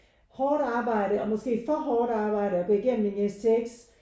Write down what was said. Hårdt arbejde og måske for hårdt arbejde at komme igennem en STX